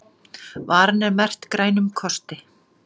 Varan er merkt Grænum kosti